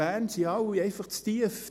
Bern sind alle einfach zu tief;